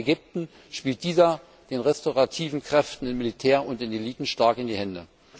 Auch in Ägypten spielt dieser Krieg den restaurativen Kräften im Militär und in den Eliten stark in die Hände.